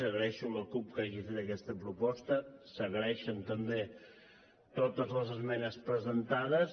agraeixo a la cup que hagi fet aquesta proposta s’agraeixen també totes les esmenes presentades